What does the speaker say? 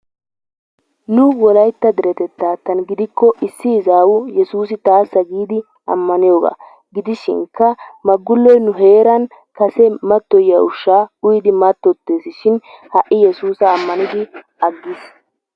Nu wolaytta deretettaattan gidikko issi izawu yessuussi taassa giidi ammaniyogaa gidishinkka Maggulloy nu heeran kase matoyiya ushshaa uyidi mattottees shin ha'i yessuussa ammaniddi agiis.